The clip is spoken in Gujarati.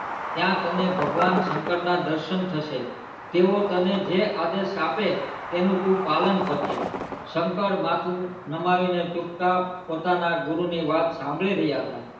ત્યાં તને ભગવાન શંકર ના દર્શન થશે તેઓ તને જે આદેશ આપે તેનું તું પાલન કરજે શંકર માથું નમાવી ને ચુપચાપ પોતાના ગુરુ ની વાત સાંભળી રહ્યાં હતા